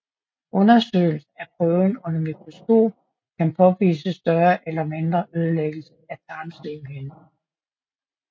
Undersøgelse af prøven under mikroskop kan påvise større eller mindre ødelæggelse af tarmslimhinden